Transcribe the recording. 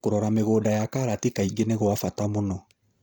Kũrora mĩgũnda ya karati kaingĩ nĩgwabata mũno.